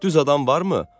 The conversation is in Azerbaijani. Düz adam varmı?